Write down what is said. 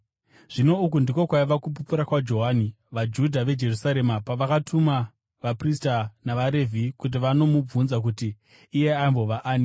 Zvino uku ndiko kwaiva kupupura kwaJohani vaJudha veJerusarema pavakatuma vaprista navaRevhi kuti vanomubvunza kuti iye aimbova ani.